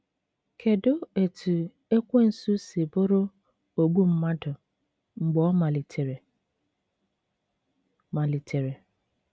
Kedụ etú Ekwensu si bụrụ “ ogbu mmadụ mgbe ọ malitere ”? malitere ”?